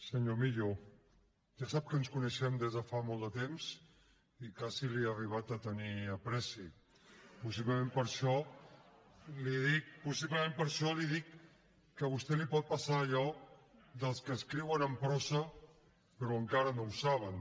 senyor millo ja sap que ens coneixem des de fa molt de temps i quasi li he arribat a tenir afecte possiblement per això li dic que a vostè li pot passar allò dels que escriuen en prosa però encara no ho saben